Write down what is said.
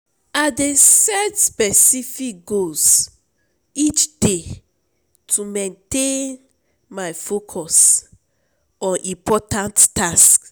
I dey set specific goals each day to maintain my focus on important tasks.